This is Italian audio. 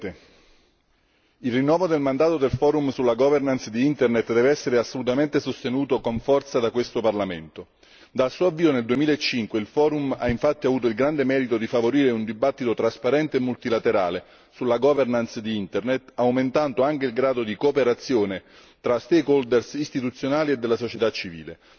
Signor Presidente, onorevoli colleghi, il rinnovo del mandato del Forum sulla governance di Internet deve essere assolutamente sostenuto con forza da questo Parlamento. Dal suo avvio nel 2005 il Forum ha infatti avuto il grande merito di favorire un dibattito trasparente e multilaterale sulla governance di Internet, aumentando anche il grado di cooperazione tra istituzionali e della società civile.